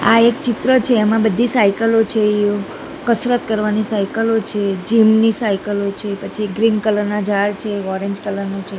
આ એક ચિત્ર છે એમા બધી સાઇકલો છે કસરત કરવાની સાઇકલો છે જીમ ની સાઇકલો છે પછી ગ્રીન કલર ના ઝાડ છે ઓરેન્જ કલર નુ છે.